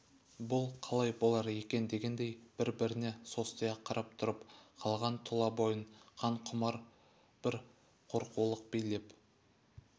бұл қалай болар екен дегендей бір-біріне состия қарап тұрып қалған тұлабойын қан құмар бр қорқаулық билеп